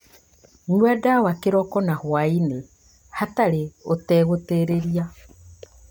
Nyua ndawa kĩroko na hwaĩ-inĩ hatarĩ ũtegũtĩrĩria